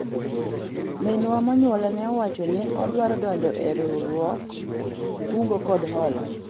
minwa monyuola ne owacho ni odwaro donjo e riwruog kungo kod hola